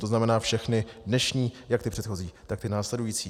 To znamená všechny dnešní, jak ty předchozí, tak ty následující.